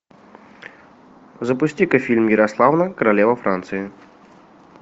запусти ка фильм ярославна королева франции